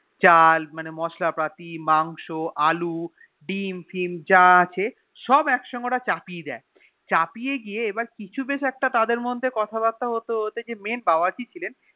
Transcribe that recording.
চাল মানে মসলা পাতি মাংস আলী দডিম্ ফিম যা আছে সব একসাথে ওরা চাপিয়ে দিয়ে চাপিয়ে দিয়ে কিছু বেশ একটা তাদের মধ্যে কথা বাত্রা হতে হতেই যে Main বাবর্চি ছিলেন